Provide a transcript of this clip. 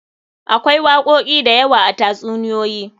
Akwai wakoki da yawa a tatsuniyoyi.